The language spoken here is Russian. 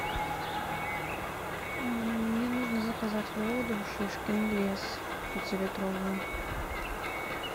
мне нужно заказать воду шишкин лес пятилитровую